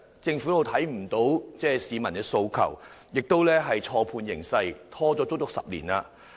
政府未能聽到市民的訴求，亦錯判形勢，拖延了10年的時間。